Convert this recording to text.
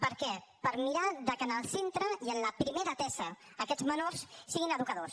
per què per mirar de que en el centre i en la primera atesa aquests menors siguin educadors